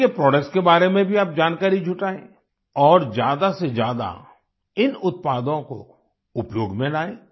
उनके प्रोडक्ट्स के बारे में भी आप जानकारी जुटाएँ और ज्यादासेज्यादा इन उत्पादों को उपयोग में लाएँ